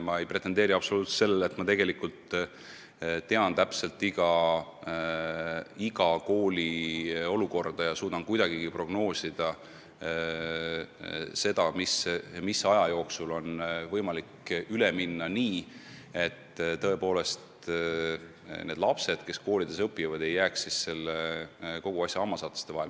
Ma ei pretendeeri absoluutselt sellele, et ma tean iga kooli olukorda ja suudan kuidagigi prognoosida, mis aja jooksul on võimalik eesti keelele üle minna nii, et need lapsed kogu selle ümberkorralduse hammasrataste vahele ei jää.